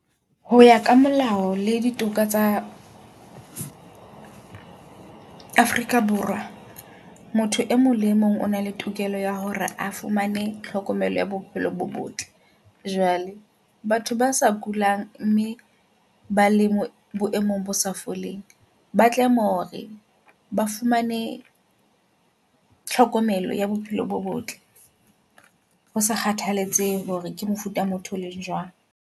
Hoya ka molao le ditoka tsa Afrika Borwa motho e mong le e mong o na le tokelo ya hore a fumane tlhokomelo ya bophelo bo botle. Jwale batho ba sa kulang mme ba leng boemong bo sa foleng. Ba tlameya hore ba fumane tlhokomelo ya bophelo bo botle. Ho sa kgathaletsehe hore ke mofuta motho o leng jwang.